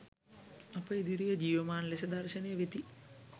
අප ඉදිරියේ ජීවමාන ලෙස දර්ශනය වෙති.